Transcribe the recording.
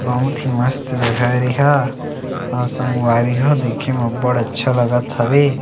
बहुत ही मस्त जगह ये एहा अऊ संगवारी हो देखे म अब्बड़ अच्छा लगत हवे।